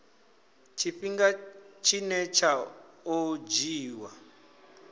tshifhinga tshine tsha o dzhiiwa